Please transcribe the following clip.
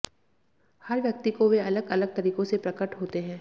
हर व्यक्ति को वे अलग अलग तरीकों से प्रकट होते हैं